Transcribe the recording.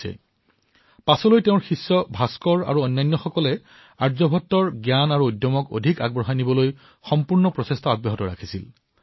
ভাস্কৰৰ দৰে তেওঁৰ শিষ্যই এই সত্বা আৰু জ্ঞানক আগুৱাই নিয়াৰ সুন্দৰ প্ৰয়াস কৰিছিল